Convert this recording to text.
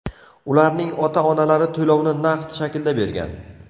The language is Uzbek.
Ularning ota-onalari to‘lovni naqd shaklda bergan.